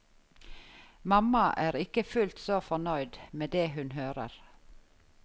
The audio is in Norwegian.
Mamma er ikke fullt så fornøyd med det hun hører.